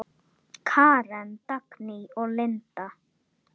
Karen, Dagný og Linda.